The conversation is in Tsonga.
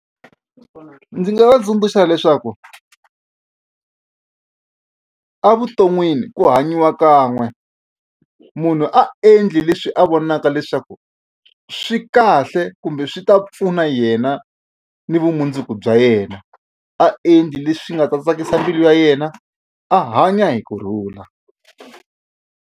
Ndzi nga va tsundzuxa leswaku evuton'wini ku hanyiwa kan'we munhu a endli leswi a vonaka leswaku swi kahle kumbe swi ta pfuna yena ni vumundzuku bya yena a endli leswi nga ta tsakisa mbilu ya yena a hanya hi kurhula.